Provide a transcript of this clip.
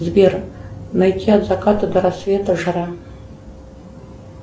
сбер найти от заката до рассвета жара